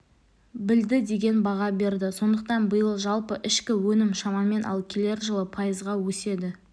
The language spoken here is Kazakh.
білді деген баға берді сондықтан биыл жалпы ішкі өнім шамамен ал келер жылы пайызға өседі